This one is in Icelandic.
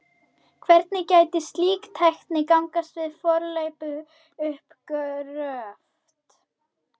Hvernig gæti slíkt tæki gagnast við fornleifauppgröft?